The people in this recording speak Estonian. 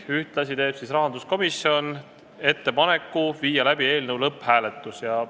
Ühtlasi teeb rahanduskomisjon ettepaneku viia läbi eelnõu lõpphääletus.